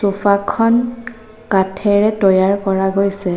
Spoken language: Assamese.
চ'ফাখন কাঠেৰে তৈয়াৰ কৰা গৈছে।